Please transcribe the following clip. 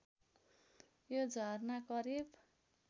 यो झरना करिब